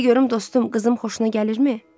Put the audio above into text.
Görüm dostum, qızım xoşuna gəlirmi?